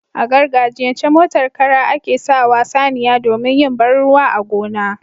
A gargajiyan ce, motar Kara ake sawa saniya domin yin banruwa a gona